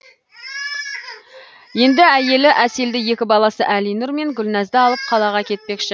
енді әйелі әселді екі баласы әлинұр мен гүлназды алып қалаға кетпекші